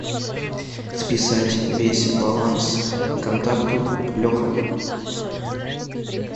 списать весь баланс контакту леха